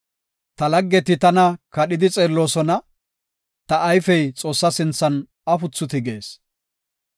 Ta laggeti tana kadhidi xeelloosona; ta ayfey Xoossa sinthan afuthi tigees.